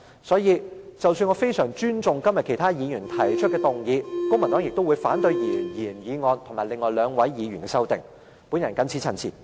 所以，即使我相當尊重今天其他議員提出的修正案，公民黨亦會反對原議案及另外兩位議員提出的修正案。